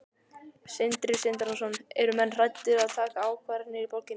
Sindri Sindrason: Eru menn hræddir að taka ákvarðanir í borginni?